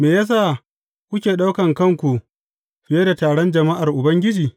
Me ya sa kuke ɗaukan kanku fiye da taron jama’ar Ubangiji?